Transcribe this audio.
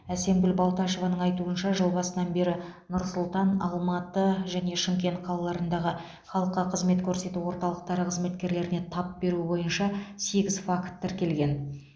әсемгүл балташеваның айтуынша жыл басынан бері нұр сұлтан алматы және шымкент қалаларындағы халыққа қызмет көрсету орталықтары қызметкерлеріне тап беру бойынша сегіз факт тіркелген